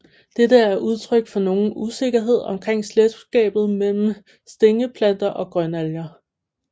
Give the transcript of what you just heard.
Dette er udtryk for nogen usikkerhed omkring slægtskabet mellem Stængelplanter og Grønalger